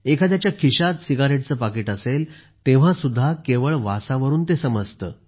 एखाद्याच्या खिशात सिगारेटचे पाकीट असेल तेव्हा सुद्धा केवळ वासावरून ते समजते